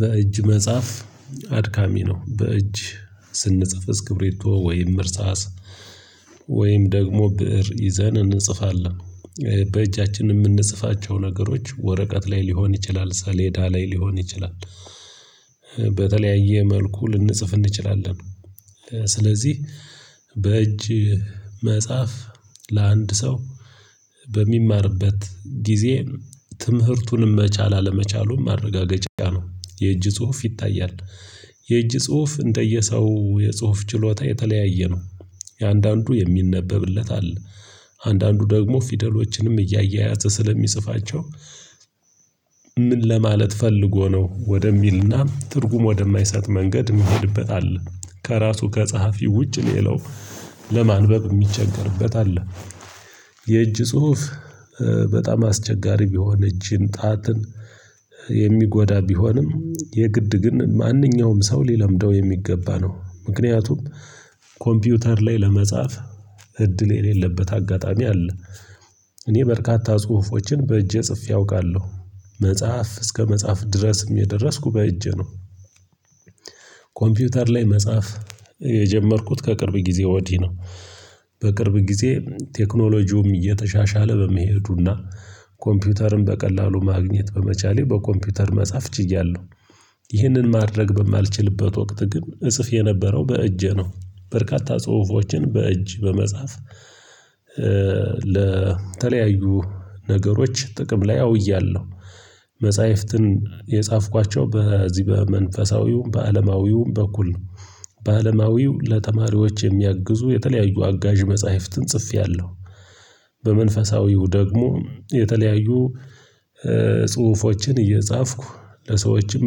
በእጅ መጽሐፍ አድካሚ ነው። በእጅ ስንጽፍ እስክብሬቶ ወይም እርሳስ ወይም ደግሞ ብእር ይዘን እንጽፋለን በእጃችን የምንጽፋቸው ነገሮች ወረቀት ላይ ሊሆን ይችላል ሰሌዳ ላይ ሊሆን ይችላል። በተለያየ መልኩ ልንጽፍ እንችላለን። ስለዚህ በእጅ መጽሐፍ ለአንድ ሰው በሚማርበት ጊዜ ትምህርቱንም መቻል አለመቻሉን ማረጋገጫ ነው የእጅ ጽሁፍ ይታያል። የእጅ ጽሁፍ እንደየሰው የጽሁፍ ችሎታ የተለያየ ነው። የአንዳንዱ የሚነበብለት አለ አንዳንዱ ደግሞ ፊደሎችንም እያያዘ ስለሚጽፋቸው። ምን ለማለት ፈልጎ ነው ወደሚልና ትርጉም ወደማይሰጥ መንገድ የሚሄድበት አለ። ከራሱ ከጸሐፊ ውጭ ሌላው ለማንበብ የሚቸገርበት አለ። የእጅ ጽሁፍ በጣም አስቸጋሪ ቢሆን እጅን ጣትን የሚጎዳ ቢሆንም የግድ ግን ማንኛውም ሰው ሊለምደው የሚገባ ነው። ምክንያቱም ኮምፒውተር ላይ ለመጻፍ እድል የሌለበት አጋጣሚ አለ። እኔ በርካታ ጽሁፎችን በእጄ ጽፌ አውቃለሁ። መጽሐፍ እስከ መጽሐፍ ድረስ የደረስኩ በእጄ ነው። ኮምፒውተር ላይ መጻፍ የጀመርኩት ከቅርብ ጊዜ ወዲህ ነው። በቅርብ ጊዜ ቴክኖሎጂውም እየተሻሻለ በመሄዱና ኮምፒውተርን በቀላሉ ማግኘት በመቻሌ በኮምፒውተር መጻፍ ችያለሁ። ይህንን ማድረግ በማልችልበት ወቅት ግን እጽፍ የነበረው በእጄ ነው። በርካታ ጽሁፎችን በእጅ በመጻፍ ለተለያዩ ነገሮች ጥቅም ላይ አውያለሁ። መጽሐፍትን የጻፍኳቸው በዚህ በመንፈሳዊው በአለማዊው በኩል ነው። በአለማዊው ለተማሪዎች የሚያግዙ የተለያዩ አጋዥ መጽሐፍትን ጽፌያለሁ። በመንፈሳዊው ደግሞ የተለያዩ ጽሁፎችን እየጻፍኩ ለሰዎችም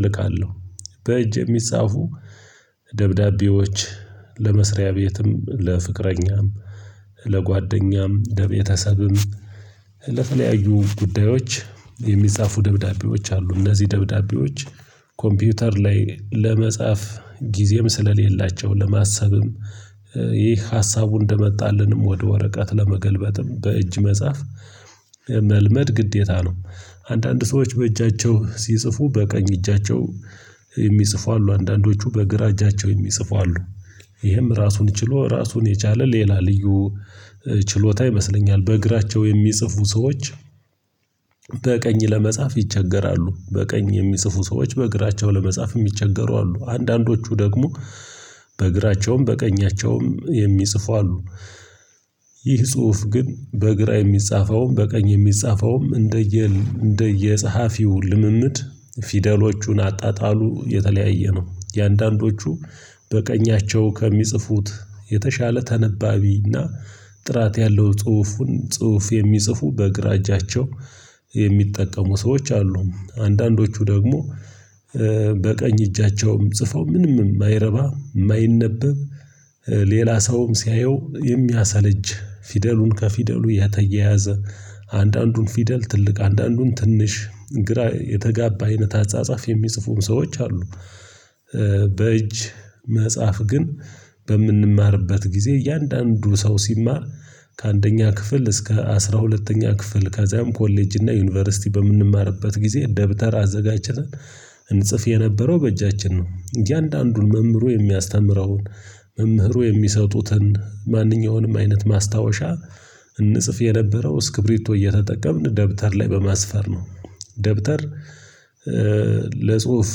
እልካለሁ። በእጅ የሚጻፉ ደብዳቤዎች ለመስሪያ ቤትም ለፍቅረኛም ለጓደኛም ለቤተሰብም ለተለያዩ ጉዳዮች የሚጻፉ ደብዳቤዎች አሉ። እነዚህ ደብዳቤዎች ኮምፒውተር ላይ ለመጻፍ ጊዜም ስለሌላቸው ለማሰብም ይህ ሀሳቡ እንደመጣልንም ወደ ወረቀት ለመገልበጥም በእጅ መጽሐፍ መልመድ ግዴታ ነው። አንዳንድ ሰዎች በእጃቸው ሲጽፉ በቀኝ እጃቸው የሚጽፉ አሉ። አንዳንዶቹ በግራ እጃቸው የሚጽፉ አሉ። ይህም ራሱን ችሎ ራሱን የቻለ ሌላ ልዩ ችሎታ ይመስለኛል። በእግራቸው የሚጽፉ ሰዎች በቀኝ ለመጻፍ ይቸገራሉ በቀኝ የሚጽፉ ሰዎች በእግራቸው ለመጻፍ የሚቸገሩ አሉ። አንዳንዶቹ ደግሞ በቀኛቸውም የሚጽፉ አሉ። ይህ ጽሁፍ ግን በግራ የሚጻፈውም በቀኝ የሚጻፈውም እንደየ እንደየጸሐፊው ልምምድ ፊደሎቹን አጣጣሉ የተለያየ ነው። የአንዳንዶቹ በቀኛቸው ከሚጽፉት የተሻለ ተነባቢና ጥራት ያለው ጽሁፉን ጽሁፍ የሚጽፉ በግራ እጃቸው የሚጠቀሙ ሰዎች አሉ። አንዳንዶቹ ደግሞ በቀኝ እጃቸውም ጽፈው ምንም የማይረባ የማይነበብ ሌላ ሰውም ሲያየው የሚያሰለች ፊደሉን ከፊደሉ የተየያዘ አንዳንዱን ፊደል ትልቅ አንዳንዱን ትንሽ ግራ የተጋባ አይነት አጻጻፍ የሚጽፉም ሰዎች አሉ። በእጅ መጽሐፍ ግን በምንማርበት ጊዜ እያንዳንዱ ሰው ሲማር ከአንደኛ ክፍል እስከ አስራ ሁለተኛ ክፍል ከዚያም ኮሌጅ እና ዩኒቨርሲቲ በምንማርበት ጊዜ ደብተር አዘጋጀተን ለተለያዩ ነገሮች ጥቅም ላይ አውያለሁ መጽሐፍትን የጻፍኳቸው በዚህ በመንፈሳዊው በአለማዊው በኩል ነው። በአለማዊው ለተማሪዎች የሚያግዙ የተለያዩ አጋዥ መጽሐፍትን ጽፌያለሁ። ይህ ጽሁፍ ግን በግራ የሚጻፈውም በቀኝ የሚጻፈውም እንደየ እንደየ ጸሐፊው ልምምድ ፊደሎቹን አጣጣሉ የተለያየ ነው። የአንዳንዶቹ በቀኛቸው ከሚጽፉት የተሻለ ተነባቢና ደብተር ለጽሁፍ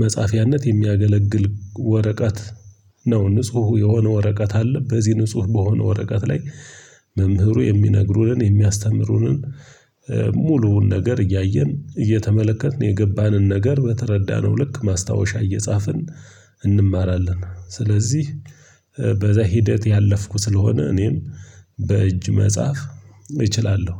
መጻፊያነት የሚያገለግል ወረቀት ነው። ንጹህ የሆነ ወረቀት አለ። በዚህ ንጹህ በሆነ ወረቀት ላይ መምህሩ የሚነግሩንን የሚያስተምሩንን ሙሉውን ነገር እያየን እየተመለከትን የገባንን ነገር በተረዳነው ልክ ማስታወሻ እየጻፍን እንማራለን። ስለዚህ በዛ ሂደት ያለፍኩ ስለሆነ እኔም በእጅ መጽሐፍ እችላለሁ።